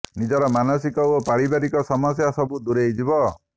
ନିଜର ମାନସିକ ଓ ପାରିବାରିକ ସମସ୍ୟା ସବୁ ଦୂରେଇ ଯିବ